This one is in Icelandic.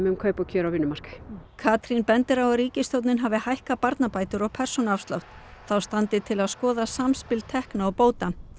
um kaup og kjör á vinnumarkaði Katrín bendir á að ríkisstjórnin hafi hækkað barnabætur og persónuafslátt þá standi til að skoða samspil tekna og bóta